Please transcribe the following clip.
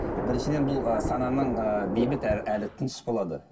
біріншіден бұл ы сананың ы бейбіт әрі тыныш болады